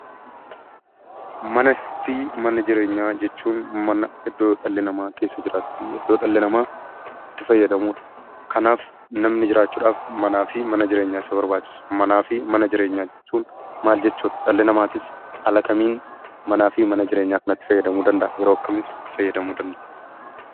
Manaa fi mana jireenyaa jechuun mana iddoo dhalli namaa keessa jiraatuu fi iddoo dhalli namaa itti fayyadamudha. Kanaaf namni jiraachuudhaaf manni jireenyaa fi nyaanni si barbaachisa. Kanaaf mana jireenyaa maal jechuudha? Dhalli namaas haalaa fi yeroo akkamii mana jireenyaa kanatti fayyadamuu danda'aa?